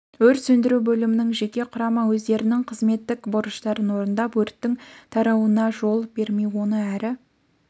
өрт сөндіру бөлімінің жеке құрамы өздерінің қызметтік борыштарын орындап өрттің тарауына жол бермей оны әрі